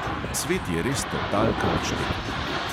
Svet je res totalka odštekan.